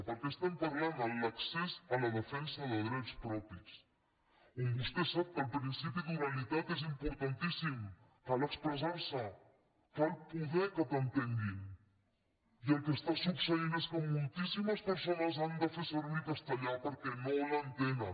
perquè parlem de l’accés a la defensa de drets propis on vostè sap que el principi d’oralitat és importantíssim cal expressar se cal poder que t’entenguin i el que succeeix és que moltíssimes persones han de fer servir el castellà perquè no els entenen